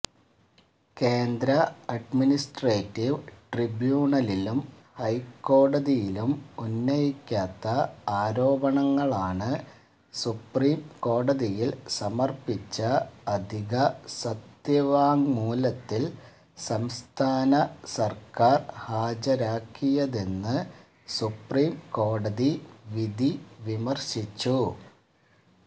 കേന്ദ്രഅഡ്മിനിസ്ട്രേറ്റീവ് ട്രിബ്യൂണലിലും ഹൈക്കോടതിയിലും ഉന്നയിക്കാത്ത ആരോപണങ്ങളാണ് സുപ്രീംകോടതിയില് സമര്പ്പിച്ച അധിക സത്യവാങ്മൂലത്തില് സംസ്ഥാന സര്ക്കാര് ഹാജരാക്കിയതെന്ന് സുപ്രീംകോടതി വിധി വിമര്ശിച്ചു